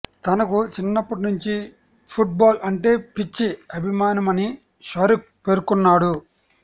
తనకు చిన్నప్పటి నుంచి ఫుట్ బాల్ అంటే పిచ్చి అభిమానమని షారుక్ పేర్కొన్నాడు